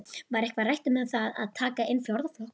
Var eitthvað rætt um það að taka inn fjórða flokkinn?